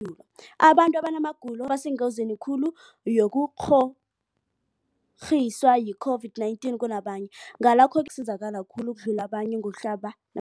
dulo, abantu abanamagulo ekukhanjwa nawo ngibo abasengozini khulu yokukghokghiswa yi-COVID-19 kunabanye, Ngalokhu-ke ngibo abazakusizakala khulu ukudlula abanye ngokuhlaba na